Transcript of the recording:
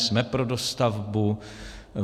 Jsme pro dostavbu.